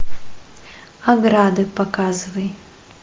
ограды показывай